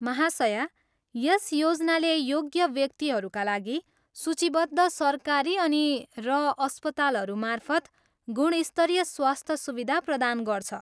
महाशया, यस योजनाले योग्य व्यक्तिहरूका लागि सूचीबद्ध सरकारी अनि र अस्पतालहरू मार्फत गुणस्तरीय स्वास्थ्य सुविधा प्रदान गर्छ।